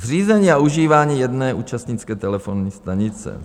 Zřízení a užívání jedné účastnické telefonní stanice.